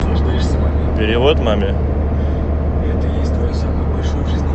перевод маме